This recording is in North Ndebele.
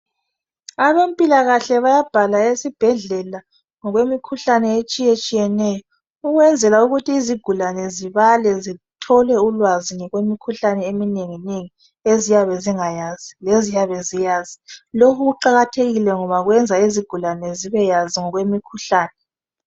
Abempilakahle bayabhala esibhedlela ngokwemikhuhlane etshiye-tshiyeneyo ukwenzela ukuthi izigulane zibale zithole ulwazi ngokwemikhuhlane eminengi-nengi eziyabe zingayazi lezinye ziyazi loku kuqakathekile ngoba kwenza izigulane zibeyazi ngokwemikhuhlane